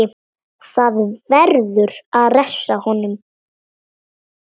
Það verður að refsa honum!